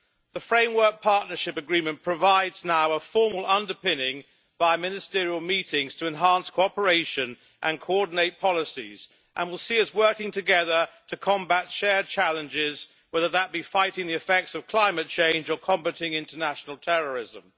The Framework Partnership Agreement provides now a formal underpinning by ministerial meetings to enhance cooperation and coordinate policies, and will see us working together to combat shared challenges whether that be fighting the effects of climate change or combating international terrorism.